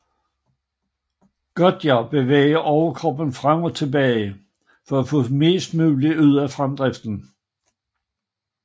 Gontjar bevæger overkroppen frem og tilbage for at få mest mulig ud af fremdriften